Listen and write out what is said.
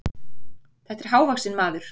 Þetta er hávaxinn maður.